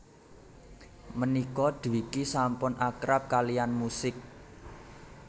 Mènika Dwiki sampun akrab kaliyann musik